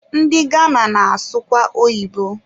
Ndị Gana na-asụkwa oyibo